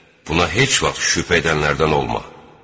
Buna heç vaxt şübhə edənlərdən olma.